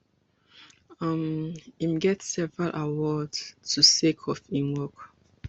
um im get several awards too sake of im work